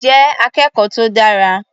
Jẹ́ akẹ́kọ̀ọ́ tó dára.